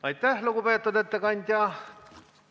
Aitäh, lugupeetud ettekandja!